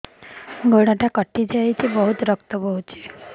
ଗୋଡ଼ଟା କଟି ଯାଇଛି ବହୁତ ରକ୍ତ ବହୁଛି